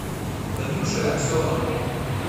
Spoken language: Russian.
танюшей аксеновой